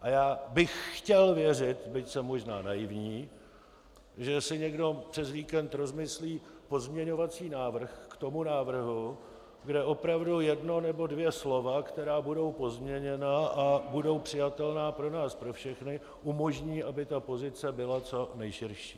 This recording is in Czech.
A já bych chtěl věřit, byť jsem možná naivní, že si někdo přes víkend rozmyslí pozměňovací návrh k tomu návrhu, kde opravdu jedno nebo dvě slova, která budou pozměněna a budou přijatelná pro nás pro všechny, umožní, aby ta pozice byla co nejširší.